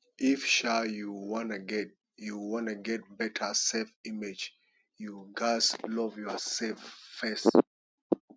if um you wan get you wan get beta self image you ghas love yourself first